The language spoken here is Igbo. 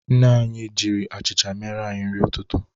Nne anyị jiri achịcha mere anyị nri ụtụtụ.